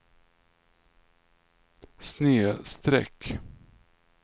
snedsträck